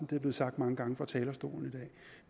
det er blevet sagt mange gange fra talerstolen